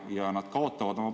Ja nad kaotavad palgas.